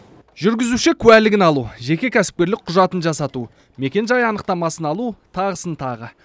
жүргізуші куәлігін алу жеке кәсіпкерлік құжатын жасату мекен жай анықтамасын алу тағысын тағы